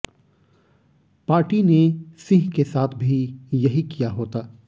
party ने सिंह के साथ भी यही किया होता